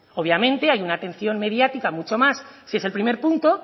obviamente hay una atención mediática mucho más si es el primer punto